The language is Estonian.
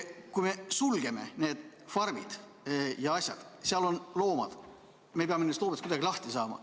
Kui me sulgeme need farmid, siis seal on loomad ja me peame nendest kuidagi lahti saama.